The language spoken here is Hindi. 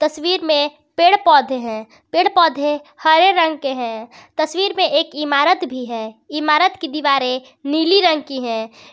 तस्वीर में पेड़ पौधे हैं पेड़ पौधे हरे रंग के हैं तस्वीर में एक इमारत भी है इमारत की दीवारें नीली रंग की है।